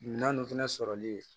Naani fɛnɛ sɔrɔli